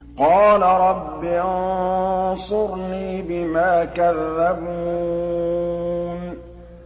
قَالَ رَبِّ انصُرْنِي بِمَا كَذَّبُونِ